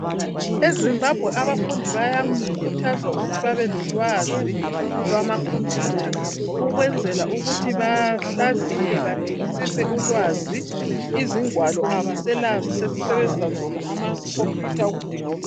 E Zimbabwe abafundi bayakhuthazwa ukuthi babe lolwazi lwama khompiyutha ukwenzela ukuthi bahlaziye badingisise ulwazi izingwalo abaselazo sesisebenzisa zona ama khompiyutha okudinga ulwazi.